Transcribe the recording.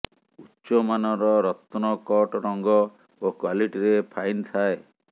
ଉଚ୍ଚମାନର ରତ୍ନ କଟ ରଙ୍ଗ ଓ କ୍ୱାଲିଟିରେ ଫାଇନ୍ ଥାଏ